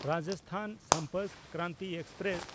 Rajasthan Sampark Kranti express